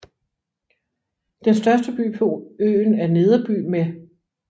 Den største by på øen er Nederby med